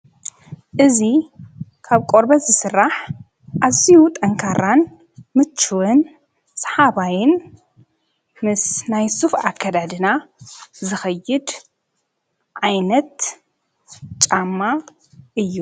እዙ ካብ ቆርበት ዝሥራሕ ኣዚዩ ጠንካራን ምችውን ሰሓባይን ምስ ናይ ሱፍ ኣከዳድና ዝኸይድ ዓይነት ጫማ እዩ።